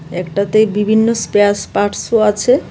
একটাতে বিভিন্ন স্পেয়াস পার্টসও আছে .